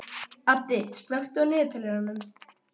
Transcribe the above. Addi, slökktu á niðurteljaranum.